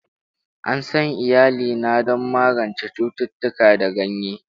An san iyalina don magance cututtuka da ganye.